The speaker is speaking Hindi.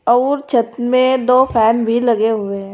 और छत में दो फैन भी लगे हुए हैं।